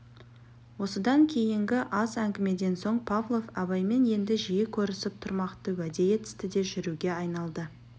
осыдан кейінгі аз әңгімеден соң павлов абаймен енді жиі көрісіп тұрмақты уәде етісті де жүруге айналды